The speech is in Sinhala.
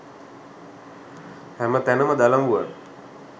හැම තැනම දලබුවන්